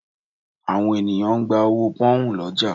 Àwọn ènìyàn ń gba owó pọ́nhùn lọ́jà